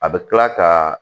A bɛ kila ka